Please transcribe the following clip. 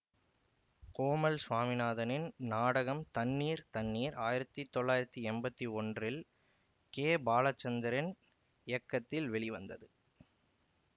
கோமல் சுவாமிநாதனின் நாடகம் தண்ணீர் தண்ணீர் ஆயிரத்தி தொள்ளாயிரத்தி எம்பத்தி ஒன்றில் கேபாலசந்தர்இன் இயக்கத்தில் வெளிவந்தது